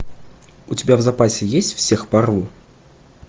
у тебя в запасе есть всех порву